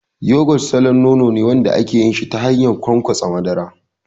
Yogurt samfurin nono ne wanda ake yin shi ta hanyar ƙwanƙwasa madara.